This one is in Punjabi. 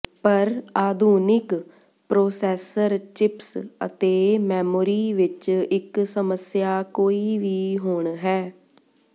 ਪਰ ਆਧੁਨਿਕ ਪ੍ਰੋਸੈਸਰ ਚਿਪਸ ਅਤੇ ਮੈਮੋਰੀ ਵਿੱਚ ਇੱਕ ਸਮੱਸਿਆ ਕੋਈ ਵੀ ਹੁਣ ਹੈ